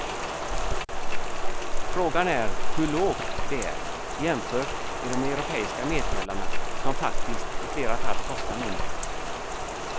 Frågan är hur lågt det är, jämfört med de europeiska medtävlarna som faktiskt i flera fall kostar mindre.